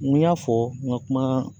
N ko y'a fɔ n ka kuma